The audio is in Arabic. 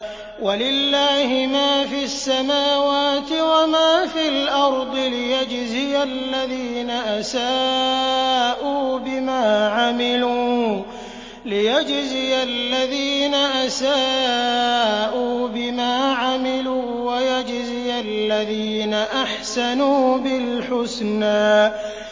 وَلِلَّهِ مَا فِي السَّمَاوَاتِ وَمَا فِي الْأَرْضِ لِيَجْزِيَ الَّذِينَ أَسَاءُوا بِمَا عَمِلُوا وَيَجْزِيَ الَّذِينَ أَحْسَنُوا بِالْحُسْنَى